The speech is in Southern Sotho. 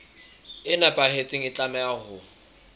e nepahetseng e tlameha ho